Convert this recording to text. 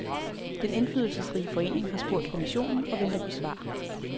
Den indflydelsesrige forening har spurgt kommissionen og venter på svar.